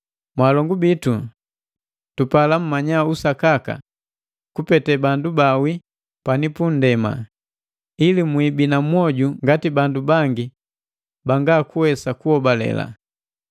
Mwaalongu bitu, tupala mmanya usakaka kupete bandu baawii pani pundema, ili mwiibina mwoju ngati bandu bangi banga kuwesa kuhobale.